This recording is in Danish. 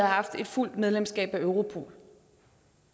haft et fuldt medlemskab af europol